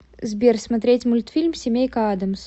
сбер смотреть мультфильм семейка адамс